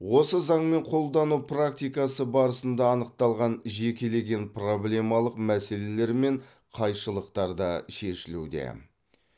осы заңмен қолдану практикасы барысында анықталған жекелеген проблемалық мәселелер мен қайшылықтар да шешілуде